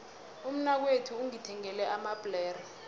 umnakwethu ungithengele amabhlere